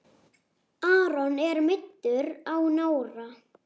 Aron er meiddur á nára.